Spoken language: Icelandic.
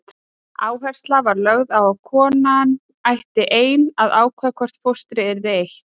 Áhersla var lögð á að konan ætti ein að ákveða hvort fóstri yrði eytt.